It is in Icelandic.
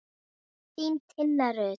Þín, Tinna Rut.